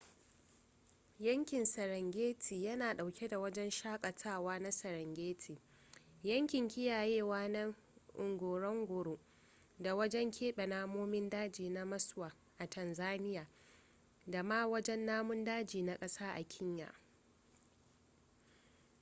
yankin serengeti yana dauke da wajen shakatawa na serengeti yankin kiyayewa na ngorongoro da wajen keɓe namomin daji na maswa a tanzania da ma wajen namun daji na kasa a kenya